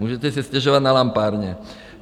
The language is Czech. Můžete si stěžovat na lampárně.